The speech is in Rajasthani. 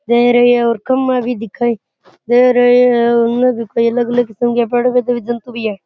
दे रहे हैं और खंबे भी दिखाईं दे रहे हैं और उन्ने भी कोई अलग अलग किस्म के पेड़ पर जीव जंतु भी है।